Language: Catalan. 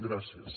gràcies